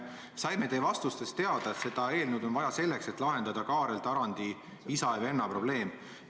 Me saime teie vastustest teada, et seda eelnõu on vaja selleks, et lahendada Kaarel Tarandi isa ja venna probleem.